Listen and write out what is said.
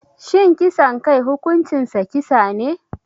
Shin kisan kai hukuncinsa kisa ne?